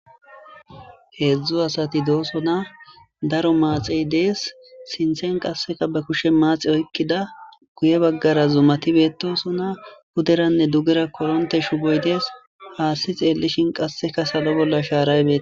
heedzdzu asati doosona daro maaxey dees sinthen qasseka ba kushe maaxi oykkida guye baggara zumati beetosona puderanne dugera koronte shuboy dees haassi xeellishin qasseka salo bolla shaaray betosona